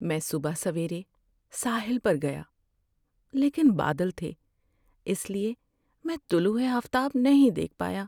میں صبح سویرے ساحل پر گیا، لیکن بادل تھے اس لیے میں طلوع آفتاب نہیں دیکھ پایا۔